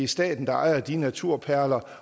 staten der ejer de naturperler